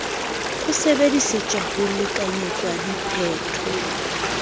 ho sebedisetswa ho lekanyetsa diphetho